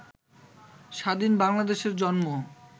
স্বাধীন বাংলাদেশের জন্ম